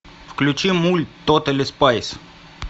включи мульт тотали спайс